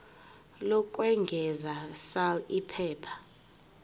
lokwengeza sal iphepha